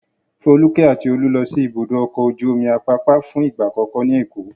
Folúkẹ́ àti Olú lọ sí Ibùdó-ọkọ̀ ojú-omi Àpápá fún ìgbà àkọ́kọ́ ní Èkó.